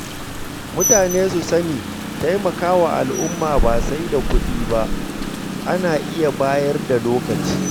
Mutane su sani taimakawa al’umma ba sai da kuɗi ba, ana iya bayar da lokaci.